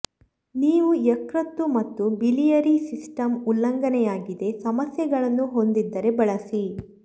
ನೀವು ಯಕೃತ್ತು ಮತ್ತು ಬಿಲಿಯರಿ ಸಿಸ್ಟಮ್ ಉಲ್ಲಂಘನೆಯಾಗಿದೆ ಸಮಸ್ಯೆಗಳನ್ನು ಹೊಂದಿದ್ದರೆ ಬಳಸಿ